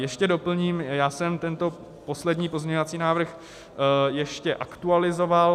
Ještě doplním: já jsem tento poslední pozměňovací návrh ještě aktualizoval.